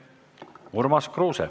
Urmas Kruuse.